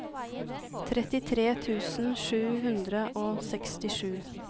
trettitre tusen sju hundre og sekstisju